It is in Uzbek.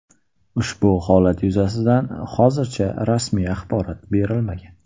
Ushbu holat yuzasidan hozircha rasmiy axborot berilmagan.